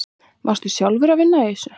Varstu sjálfur að vinna í þessu?